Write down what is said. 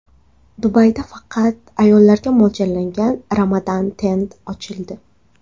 Dubayda faqat ayollarga mo‘ljallangan Ramadan Tent ochildi.